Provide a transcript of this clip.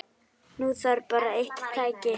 Nú þarf bara eitt tæki.